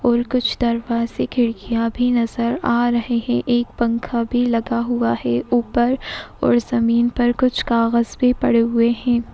और कुछ दरवाजे खिड़कियांँ भी नजर आ रहे हैं। एक पंखा भी लगा हुआ है। ऊपर और जमीन पर कुछ कागज भी पड़े हुए हैं।